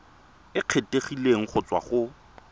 e kgethegileng go tswa go